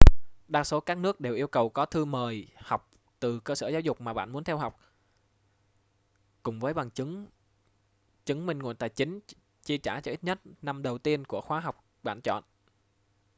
đa số các nước đều yêu cầu có thư mời học từ cơ sở giáo dục mà bạn muốn theo học cùng với bằng chứng chứng minh nguồn tài chính chi trả cho ít nhất năm đầu tiên của khóa học bạn chọn